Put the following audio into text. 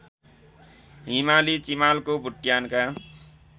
हिमाली चिमालको बुट्यानका